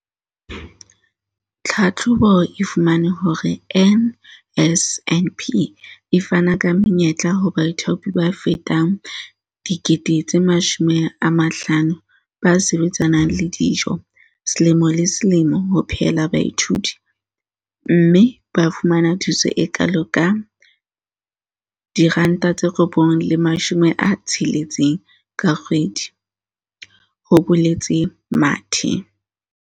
"Tlhahlobo e fumane hore NSNP e fana ka menyetla ho baithaopi ba fetang 50 000 ba sebetsanang le dijo selemo le selemo ho phehela baithuti, mme ba fumana thuso e kalo ka R960 ka kgwedi," ho boletse Mathe.